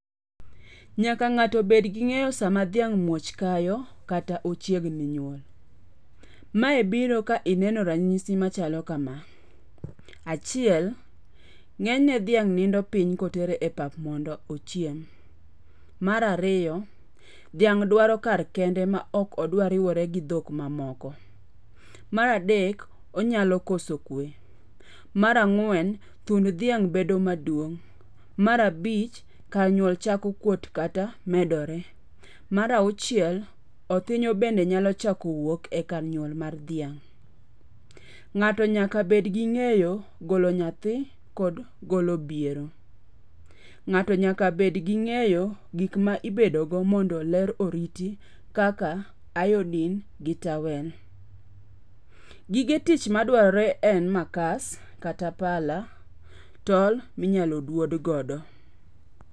Nyaka ng'ato bed gi ng'eyo sama dhiang' muoch kayo. Kata ochiegni nyuol. Mae biro ka ineno ranyisi machalo kama. Achiel. Ng'enyne dhiang' nindo piny kotere e pap mondo ochiem. Mar ariyo. Dhiamg' dwaro kare kende ma ok odwar riwore gi dhok mamoko. Mar adek. Onyalo koso kwe. Mar ang'wen. Thund dhiang' bedo maduong'. Mar abich. Kar nyuol chako kuot kata medore. Mar auchiel. Othinyo bende nyalo chako wuok e kar nyuol mar dhiang'. Ng'ato nyaka bed gi ng'eyo golo nyathi kod golo biero. Ng'ato nyaka bed gi ng'eyo gik ma ibedogo mondo ler oriti kaka iodine gi towel. Gige tich madwarore en makas kata pala, tol mpinyalo dwod godo.